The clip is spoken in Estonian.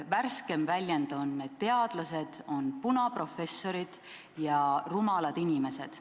Värskeim väljend on, et teadlased on punaprofessorid ja rumalad inimesed.